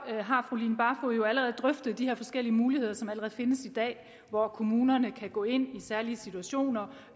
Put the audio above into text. jo de her forskellige muligheder som allerede findes i dag hvor kommunerne kan gå ind i særlige situationer